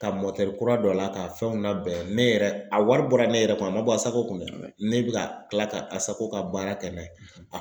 Ka kura don a la k'a fɛnw labɛn ne yɛrɛ a wari bɔra ne yɛrɛ kun a man bɔ ASACO kun dɛ ne bɛ ka kila ka a ASACO ka baara kɛ n'a ye.